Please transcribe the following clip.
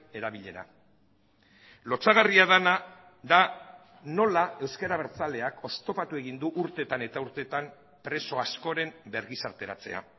erabilera lotsagarria dena da nola ezker abertzaleak oztopatu egin du urtetan eta urtetan preso askoren bergizarteratzea